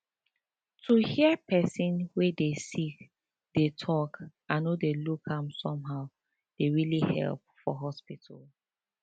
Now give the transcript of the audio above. to hear person wey dey sick dey talk and no dey look am somehow dey really help for hospital